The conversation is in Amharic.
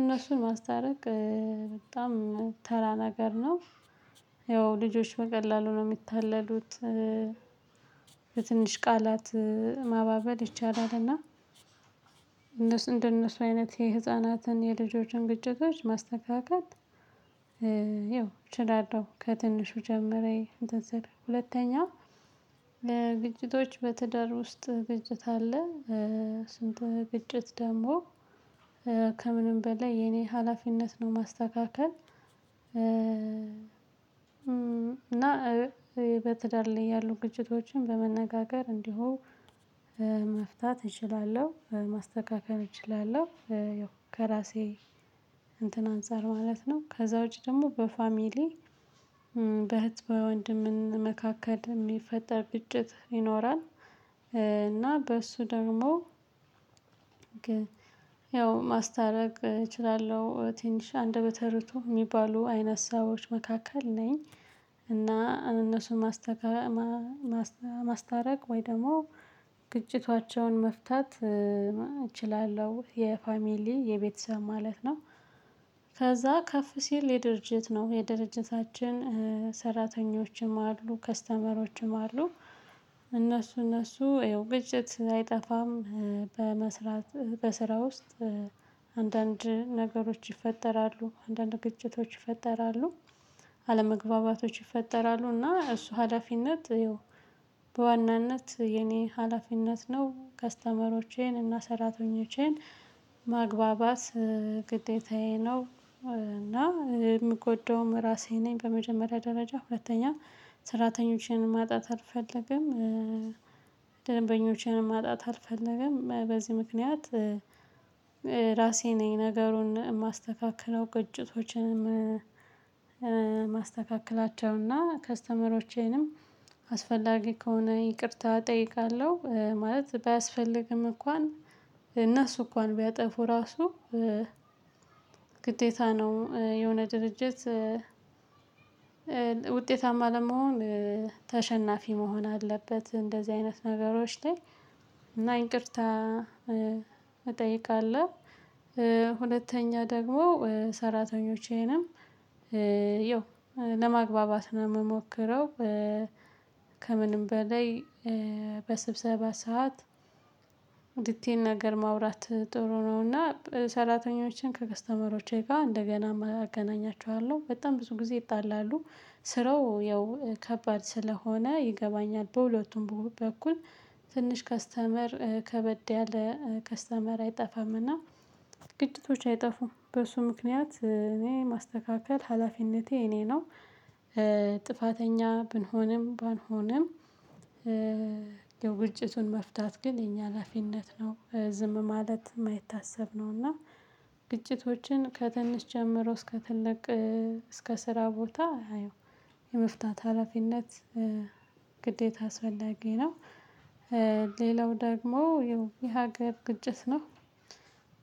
እነሱን ማስታረቅ በጣም ተራ ነገር ነው። ያው ልጆች በቀላሉ ነው ሚታለሉት። በትንሽ ቃላት ማባበል ይቻላል። እና እነሱ እንደነሱ አይነት የህፃናትን የልጆችን ግጭቶች ማስተካከል። አዎ እችላለሁ። ከትንሹ ጀምሬ እንትን ስል ሁለተኛ ግጭቶች በትዳር ውስጥ ግጭት አለ። ስንት ግጭት ደግሞ ከምንም በላይ የኔ ሀላፊነት ነው ማስተካከል። እና በትዳር ላይ ያሉ ግጭቶችን በመነጋገር እንዲሁ መፍታት እችላለሁ ማስተካከር እችላለሁ። ከራሴ እንትን አንፃር ማለት ነው። ከዛ ውጪ ደሞ በፋሚሊ በህት በወንድም መካከል ሚፈጠር ግጭት ይኖራል። እና በሱ ደግሞ ያው ማስታረቅ እችላለሁ ትንሽ እንደበተርቱ ሚባሉ አይነት ሰዎች መካከል ነኝ። እና እነሱን ማስታረቅ ወይ ደግሞ ግጭታቸውን መፍታት እችላለሁ። የፋሚሊ የቤተሰብ ማለት ነው። ከዛ ከፍ ሲል የድርጅት ነው የድርጅታችን ሰራተኞችም አሉ ከስተመሮችም አሉ። እነሱ እነሱ ግጭት አይጠፋም። በመስራት በስራ ውስጥ አንዳንድ ነገሮች ይፈጠራሉ አንዳንድ ግጭቶች ይፈጠራሉ። አለመግባባቶች ይፈጠራሉ እና እሱ ሀላፊነት ይው በዋናነት የኔ ሀላፊነት ነው። ከስተመሮቼን እና ሰራተኞቼን ማግባባት ግዴታዬ ነው። እና ምጎዳውም ራሴ ነኝ በመጀመሪያ ደረጃ ሁለተኛ ሰራተኞቸን ማጣት አልፈልግም። ደንበኞችንም ማጣት አልፈልግም። በዚህ ምክንያት ራሴ ነኝ ነገሩን ማስተካክለው። ግጭቶችንም ማስተካክላቸውና ከስተመሮቼንም አስፈላጊ ከሆነ ይቅርታ እጠይቃለሁ። ማለት ባያስፈልግም እንኳን እነሱ እንኳን ቢያጠፉ ራሱ ግዴታ ነው የሆነ ድርጅት ውጤታማ ለመሆን ተሸናፊ መሆን አለበት። እንደዚህ አይነት ነገሮች ላይ እና ይቅርታ እጠይቃለሁ። ሁለተኛ ደግሞ ሰራተኞቼንም የው ለማግባባት ነው ምሞክረው። ከምንም በላይ በስብሰባ ሰዓት ዲቴን ነገር ማውራት ጥሩ ነው። እና ሰራተኞችን ከከስተመሮች ጋ እንደገና አገናኛቸዋለሁ በጣም ብዙ ጊዜ ይጣላሉ ስራው ያው ከባድ ስለሆነ ይገባኛል። በሁለቱም በኩል ትንሽ ከስተመር ከበድ ያለ ከስተመር አይጠፋምና ግጭቶች አይጠፉም በሱ ምክንያት እኔ ማስተካከል ሀላፊነቴ የእኔ ነው። ጥፋተኛ ብንሆንም ባንሆንም ያው ግጭቱን መፍታት ግን የኛ ሀላፊነት ነው። ዝም ማለት ማይታሰብ ነው። እና ግጭቶችን ከትንሽ ጀምሮ እስከ ትልቅ እስከ ስራ ቦታ ያው የመፍታት ሀላፊነት ግዴታ አስፈላጊ ነው። ሌላው ደግሞ ይው የሀገር ግጭት ነው።